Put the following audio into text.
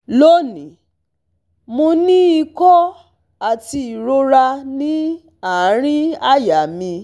Loni, mo ní ìkó ati irora ni aarin àyà mi